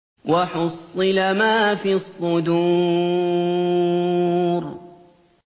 وَحُصِّلَ مَا فِي الصُّدُورِ